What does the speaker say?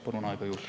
Palun aega juurde.